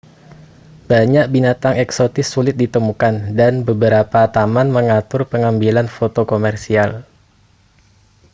banyak binatang eksotis sulit ditemukan dan beberapa taman mengatur pengambilan foto komersial